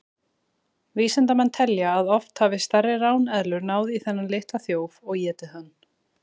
Vísindamenn telja að oft hafi stærri ráneðlur náð í þennan litla þjóf og étið hann.